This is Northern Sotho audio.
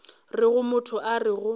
rego motho a re go